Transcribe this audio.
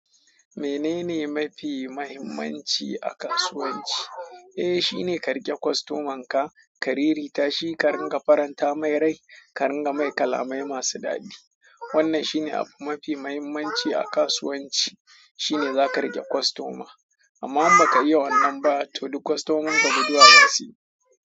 Menene mafi muhimmanci a kasuwanci? Eh, shine ka rike kostoman ka, ka rere ta shi, ka ringa faranta mai rai, ka ringa mai kalamai masu dadi. Wannan shine abu mafi mahimmanci a kasuwanci. Shi ne za ka rike kostoma. Amma in ba ka yi wannan ba, to duk kostomin ka guduwa zasuyi.